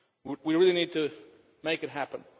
We really need to make it happen.